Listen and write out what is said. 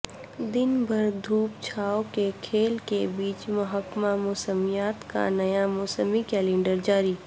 دن بھر دھوپ چھائو کے کھیل کے بیچ محکمہ موسمیات کا نیاموسمی کلینڈر جاری